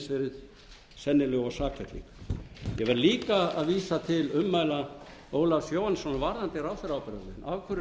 verið sennileg og sakfelling ég verð líka að vísa til ummæla ólafs jóhannessonar varðandi ráðherraábyrgðina af hverju notum við ekki bara hundrað